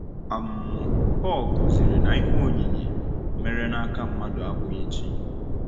um Pọl kụziri na ihe oyiyi “mere n’aka mmadụ abụghị chi.”